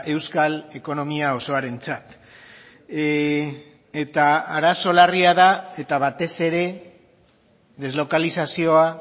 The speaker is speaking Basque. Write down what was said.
euskal ekonomia osoarentzat eta arazo larria da eta batez ere deslokalizazioa